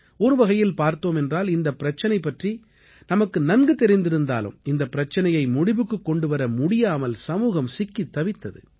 ஒரு வகையில் பார்த்தோம் என்றால் இந்தப் பிரச்சனை பற்றி நமக்கு நன்கு தெரிந்திருந்தாலும் இந்தப் பிரச்சனையை முடிவுக்குக் கொண்டுவர முடியாமல் சமூகம் சிக்கித் தவித்தது